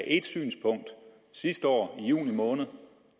ét synspunkt sidste år i juni måned